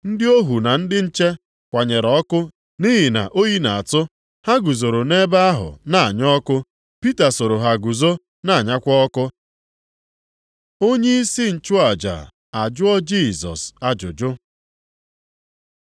Ndị ohu na ndị nche kwanyere ọkụ nʼihi na oyi na-atụ. Ha guzoro nʼebe ahụ na-anya ọkụ. Pita soro ha guzo na-anyakwa ọkụ. Onyeisi nchụaja ajụọ Jisọs ajụjụ